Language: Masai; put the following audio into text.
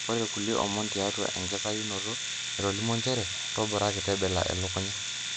Ore kulie omon tiatua inakitayunoto etolimuo njere''Toboraki tebela elukunya''.